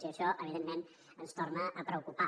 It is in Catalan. i això evidentment ens torna a preocupar